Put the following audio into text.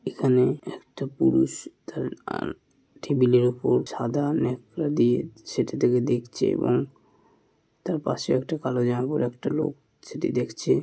এখানে একটা পুরুষ টেবিল -এর ওপর সাদা ন্যাকড়া দিয়ে সেটিটাকে দেখছে। এবং তার পাশে একটা কালো জামা পড়া একটা লোক সেটি দেখছে|